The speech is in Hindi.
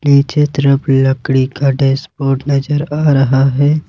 नीचे तरफ़ लकड़ी का डेस्क बोर्ड नजर आ रहा हैं।